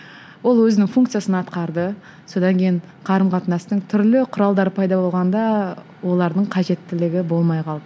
ол өзінің функциясын атқарды содан кейін қарым қатынастың түрлі құралдары пайда болғанда олардың қажеттілігі болмай қалды